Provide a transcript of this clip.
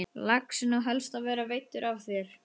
Laxinn á helst að vera veiddur af þér.